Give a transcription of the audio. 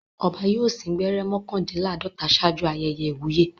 Ọba yóò sín gbẹ́rẹ́ mọ́kàndínláàdọ́ta ṣáájú ayẹyẹ ìwúyè.